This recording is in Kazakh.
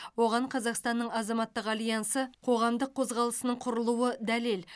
оған қазақстанның азаматтық альянсы қоғамдық қозғалысының құрылуы дәлел